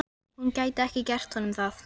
Kristel, hvernig verður veðrið á morgun?